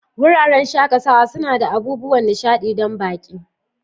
Wuraren shakatawa suna da abubuwan nishaɗi don baƙi.